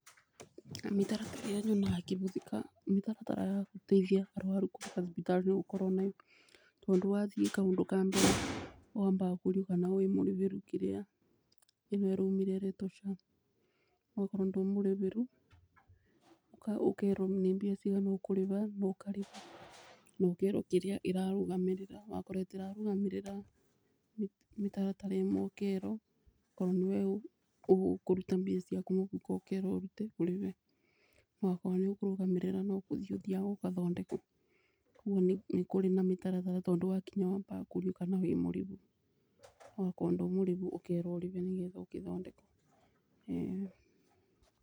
Mĩtaratara ĩrĩa nyonaga ĩkihuthika mĩtaratara ya gũteithia arwaru kũrĩba thibitari nĩ gũkorwo nĩ ũndũ wa thiĩ kaũndũ ka mbere wambaga kũrio kana wĩmũrĩbĩru kĩrĩa ĩno ĩraumire ĩretwo SHA.Okorwo ndũrĩ mũrĩbĩru ũkerwo nĩ mbia cigana ũkũrĩba na ũkarĩba na ũkerwo kĩrĩa ĩrarũgamĩrĩra wakorwo ĩtirarũgamĩrira mĩtaratara ĩmwe ũkerwo. Okorwo nĩwe ũkũruta mbia ciaku mũbuko ũkerwo ũrute ũrĩbe. No akorw nĩĩkũrũgamĩrĩra no kũrthiĩ ũthiaga ũkathondekwo, koguo nĩ kũrĩ na mĩtaratara tondũ wakinya wambaga kũrio kana wĩ mũrĩbu okorwo ndũrĩ mũrĩbu ũkerwo ũrĩbe nĩ ketha ũkĩthondekwo ĩĩni.